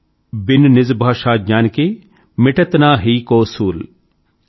बिन निज भाषाज्ञान के मिटत न हिय को सूल ||